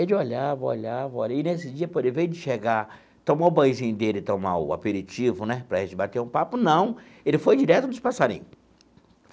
Ele olhava, olhava, olhava, e nesse dia, invés de chegar, tomar o banhozinho dele, tomar o aperitivo, né, para a gente bater um papo, não, ele foi direto nos passarinho.